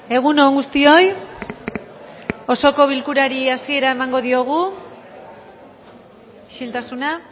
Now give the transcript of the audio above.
egun on guztioi osoko bilkurari hasiera emango diogu isiltasuna